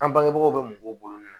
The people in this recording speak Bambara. An bangebagaw bɛ mɔgɔw bolo